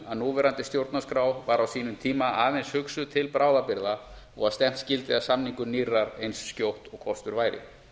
að núverandi stjórnarskrá var á sínum tíma aðeins hugsuð til bráðabirgða og að stefnt skyldi að samningu nýrrar eins skjótt og kostur væri